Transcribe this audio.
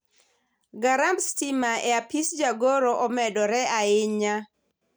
garamb stima e apis jagoro omedore ahinya